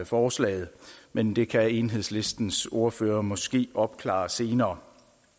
forslaget men det kan enhedslistens ordfører måske opklare senere